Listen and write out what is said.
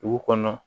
Dugu kɔnɔ